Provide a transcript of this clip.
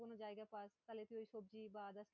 যে কোনো জায়গা পাস তাহলে তুই সবজি বা